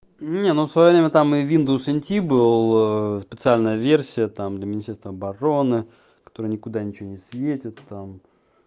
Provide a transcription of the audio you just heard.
не ну в своё время там и виндовс инти бал специальная версия там для министерства обороны который никуда ничего не светит там